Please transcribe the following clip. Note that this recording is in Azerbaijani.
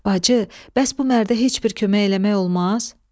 Bacı, bəs bu mərdə heç bir kömək eləmək olmaz?